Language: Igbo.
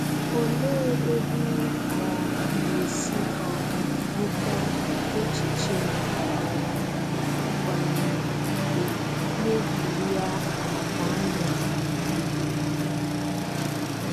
Òlee ebe ị um ga-esi um nweta echiche na um mba na-egwúrị́a àkànụ́ a?